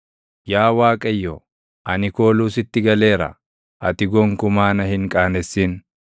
Yaa Waaqayyo, ani kooluu sitti galeera; ati gonkumaa na hin qaanessin.